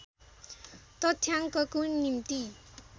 तथ्याङ्कको निम्ति